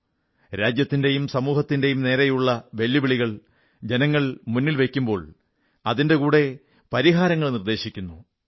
ആളുകൾ രാജ്യത്തിന്റെയും സമൂഹത്തിന്റെയും മുന്നിലുള്ള വെല്ലുവിളികൾ മുന്നിൽ വയ്ക്കുമ്പോൾ അതിന്റെ കൂടെ പരിഹാരങ്ങളും നിർദ്ദേശിക്കുന്നു